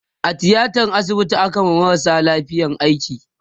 a tiatan asibiti akayi wa marasa lafiya aiki